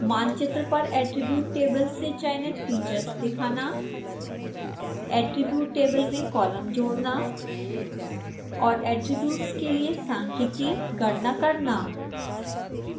मानचित्र पर attribute table से चयनित फीचर्स दिखाना attribute table में कॉलम जोड़ना और attributes के लिए सांख्यिकी गणना करना